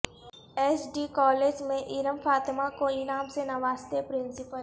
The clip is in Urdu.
ایس ڈی کالج میں ارم فاطمہ کو انعام سے نوازتے پرنسپل